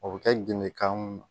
O bɛ kɛ gende kan ye